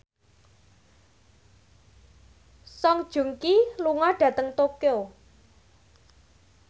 Song Joong Ki lunga dhateng Tokyo